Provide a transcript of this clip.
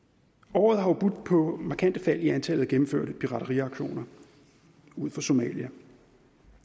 året har jo budt på markante fald i antallet af gennemførte pirateriaktioner ud for somalia